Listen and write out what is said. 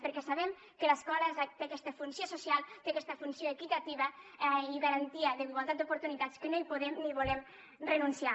perquè sabem que l’escola té aquesta funció social té aquesta funció equitativa i garantia d’igualtat d’oportunitats que no hi podem ni hi volem renunciar